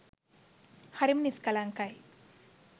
හරිම නිස්කලංකයි.